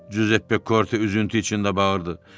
Cüzeppe Korte üzüntü içində bağırdı.